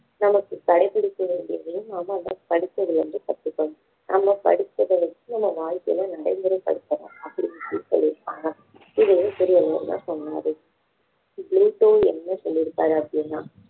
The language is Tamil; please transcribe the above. நமக்கு கடைபிடிக்க வேண்டியதையும் நாம அந்த படிச்சதுல இருந்து கத்துக்கணும் நம்ம படிச்சதை வச்சு நம்ம வாழ்க்கையில நடைமுறைப்படுத்தணும் அப்படின்னு சொல்லி இருக்காங்க இதையும் திருவள்ளுவர் தான் சொன்னாரு புளூட்டோ என்ன சொல்லிருக்காரு அப்படின்னா